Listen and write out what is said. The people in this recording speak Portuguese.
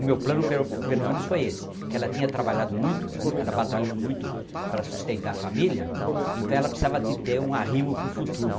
o meu plano foi esse , que ela tinha trabalhado muito, muito, ela batalhou muito para sustentar a família, então ela precisa de ter um arrimo para o futuro